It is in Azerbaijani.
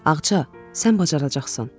Ağca, sən bacaracaqsan.